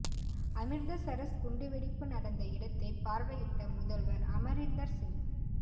அமிர்தசரஸ் குண்டு வெடிப்பு நடந்த இடத்தை பார்வையிட்ட முதல்வர் அமரிந்தர் சிங்